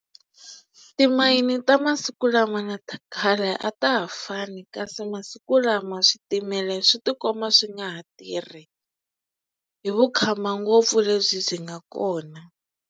Timayini ta masiku lama na ta khale a ta ha fani kasi masiku lama switimela swi tikomba swi nga ha tirhi hi vukhamba ngopfu lebyi byi nga kona.